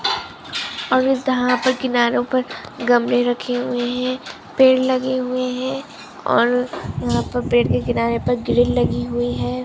और इस दाहो पर किनारो पर गमले रखे हुए है पेड़ लगे हुए है और यहाँ पर पेड़ के किनारे पर ग्रिल लगी हुई है।